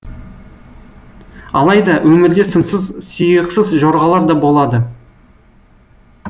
алайда өмірде сынсыз сиықсыз жорғалар да болады